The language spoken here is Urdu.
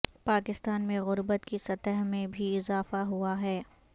پاکستان میں غربت کی سطح میں بھی اضافہ ہوا ہے